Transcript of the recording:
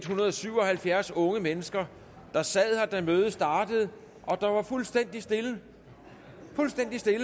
hundrede og syv og halvfjerds unge mennesker der sad her da mødet startede og der var fuldstændig stille fuldstændig stille